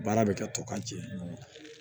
Baara bɛ kɛ tɔ ka jɛ